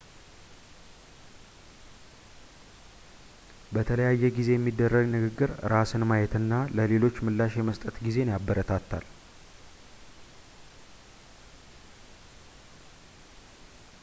በተለያየ ጊዜ የሚደረግ ንግግር ራስን ማየት እና ለሌሎች ምላሽ የመስጠት ጊዜን ያበረታታል